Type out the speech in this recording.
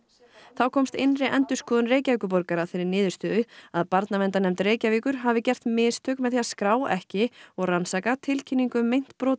þá komst innri endurskoðun Reykjavíkurborgar að þeirri niðurstöðu að Barnaverndarnefnd Reykjavíkur hafi gert mistök með því að skrá ekki og rannsaka tilkynningu um meint brot